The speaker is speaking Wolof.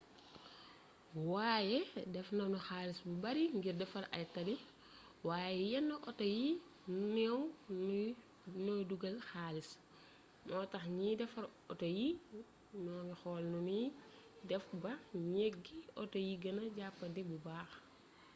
waaye def nañu xaalis bu bari ngir defar ay tali waaye yenn auto yu néew ñooy dugal xaalis moo tax ñiy defar auto yi ñu ngi xool nu ñuy def ba njëgi auto yi gëna jàppandi bu baax